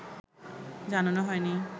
জানানো হয়নি